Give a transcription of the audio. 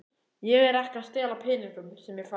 Ekki er ég að stela peningunum sem ég fæ.